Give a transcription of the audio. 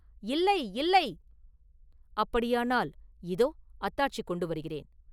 இல்லை!” “இல்லை! “அப்படியானால் இதோ அத்தாட்சி கொண்டு வருகிறேன்.